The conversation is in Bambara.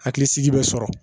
Hakilisigi bɛ sɔrɔ